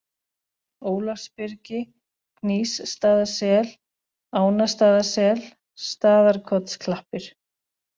Ólafsbyrgi, Gnýsstaðasel, Ánastaðasel, Staðarkotsklappir